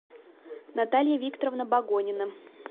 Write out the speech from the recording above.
наталья викторовна богонина